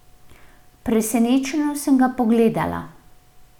Presenečeno sem ga pogledala.